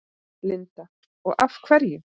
Linda: Og af hverju?